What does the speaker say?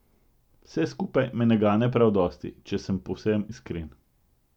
Vse skupaj me ne gane prav dosti, če sem povsem iskren.